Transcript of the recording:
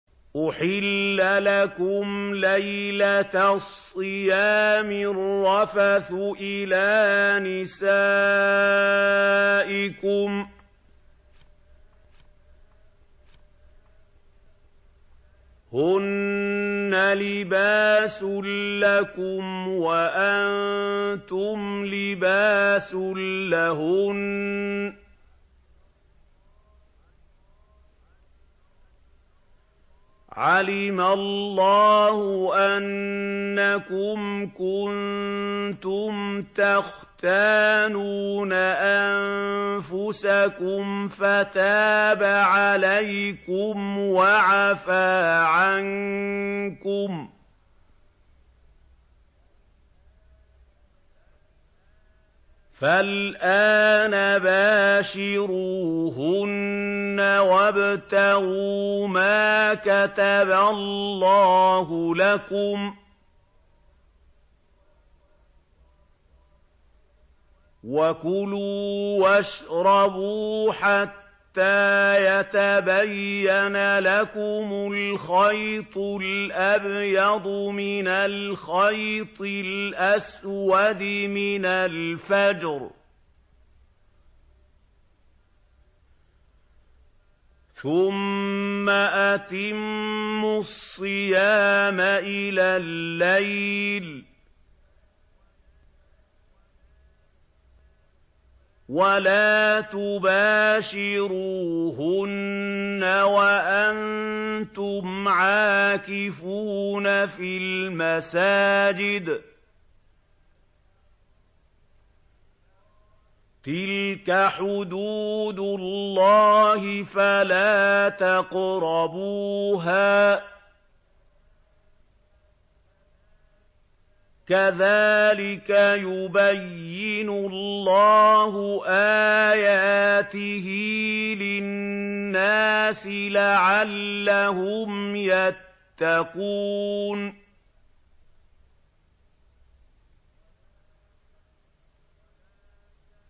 أُحِلَّ لَكُمْ لَيْلَةَ الصِّيَامِ الرَّفَثُ إِلَىٰ نِسَائِكُمْ ۚ هُنَّ لِبَاسٌ لَّكُمْ وَأَنتُمْ لِبَاسٌ لَّهُنَّ ۗ عَلِمَ اللَّهُ أَنَّكُمْ كُنتُمْ تَخْتَانُونَ أَنفُسَكُمْ فَتَابَ عَلَيْكُمْ وَعَفَا عَنكُمْ ۖ فَالْآنَ بَاشِرُوهُنَّ وَابْتَغُوا مَا كَتَبَ اللَّهُ لَكُمْ ۚ وَكُلُوا وَاشْرَبُوا حَتَّىٰ يَتَبَيَّنَ لَكُمُ الْخَيْطُ الْأَبْيَضُ مِنَ الْخَيْطِ الْأَسْوَدِ مِنَ الْفَجْرِ ۖ ثُمَّ أَتِمُّوا الصِّيَامَ إِلَى اللَّيْلِ ۚ وَلَا تُبَاشِرُوهُنَّ وَأَنتُمْ عَاكِفُونَ فِي الْمَسَاجِدِ ۗ تِلْكَ حُدُودُ اللَّهِ فَلَا تَقْرَبُوهَا ۗ كَذَٰلِكَ يُبَيِّنُ اللَّهُ آيَاتِهِ لِلنَّاسِ لَعَلَّهُمْ يَتَّقُونَ